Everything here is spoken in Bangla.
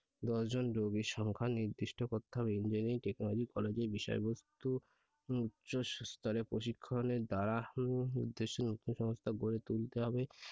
দশ জন রোগীর সংখ্যা নির্দিষ্ট করতে হবে Engineering Technology College এর বিষয়বস্তু উচ্চস্তরের প্রশিক্ষণের দ্বারা উম উদ্দেশ্যে নতুন সংস্থা গড়ে তুলতে হবে।